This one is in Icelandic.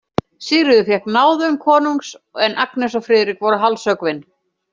Sigríður fékk náðun konungs, en Agnes og Friðrik voru hálshöggvin.